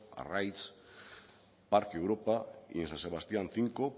arraiz parque europa y en san sebastián cinco